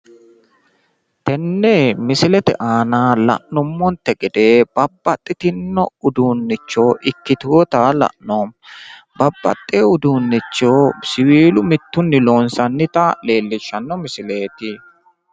Tenne misilete aana la'nummonte gede babbaxxitinno uduunnicho ikkiteyoota la'noommo babbaxxeyo uduunnicho siwiilu mittunni loonsannita leellishshanno misileeti